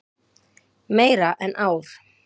Meira en ár.